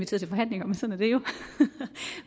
til forhandlinger